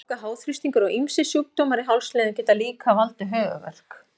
Gláka, háþrýstingur og ýmsir sjúkdómar í hálsliðum geta líka valdið höfuðverk.